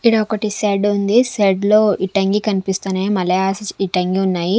ఈడ ఒకటి షెడ్ ఉంది. షెడ్ లో ఇటంగి కనిపిస్తున్నాయి మలయాస్ ఇటంగి ఉన్నాయి.